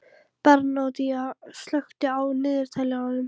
Bernódía, slökktu á niðurteljaranum.